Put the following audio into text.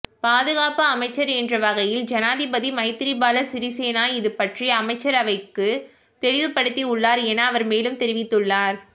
பாதுகாப்பு அமைச்சர் என்ற வகையில் ஜனாதிபதி மைத்திரிபால சிறிசேன இதுபற்றி அமைச்சரவைக்குத் தெளிவுபடுத்தியுள்ளார் என அவர் மேலும் தெரிவித்துள்ளார்